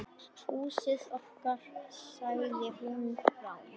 Húsið okkar.- sagði hún rám.